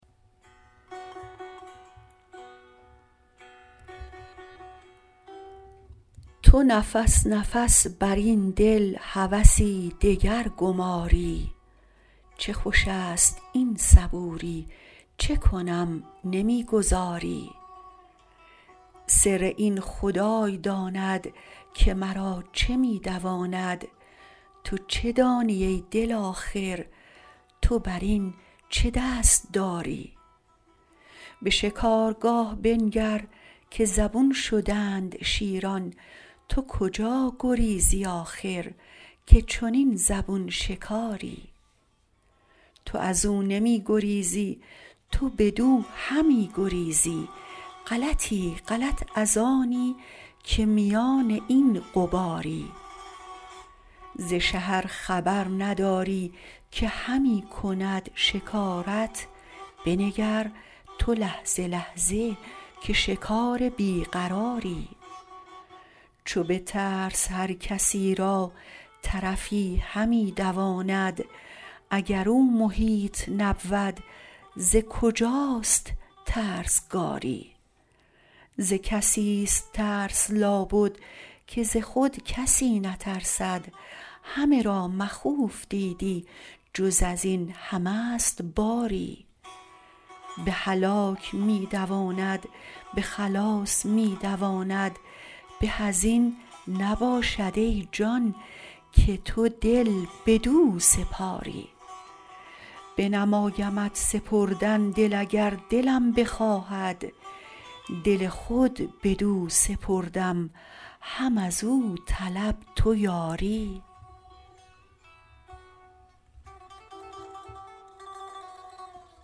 تو نفس نفس بر این دل هوسی دگر گماری چه خوش است این صبوری چه کنم نمی گذاری سر این خدای داند که مرا چه می دواند تو چه دانی ای دل آخر تو بر این چه دست داری به شکارگاه بنگر که زبون شدند شیران تو کجا گریزی آخر که چنین زبون شکاری تو از او نمی گریزی تو بدو همی گریزی غلطی غلط از آنی که میان این غباری ز شه ار خبر نداری که همی کند شکارت بنگر تو لحظه لحظه که شکار بی قراری چو به ترس هر کسی را طرفی همی دواند اگر او محیط نبود ز کجاست ترسگاری ز کسی است ترس لابد که ز خود کسی نترسد همه را مخوف دیدی جز از این همه ست باری به هلاک می دواند به خلاص می دواند به از این نباشد ای جان که تو دل بدو سپاری بنمایمت سپردن دل اگر دلم بخواهد دل خود بدو سپردم هم از او طلب تو یاری